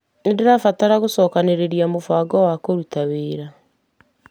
Nĩndĩrabatara gũcokanĩrĩria mũbango wa kũruta wĩra.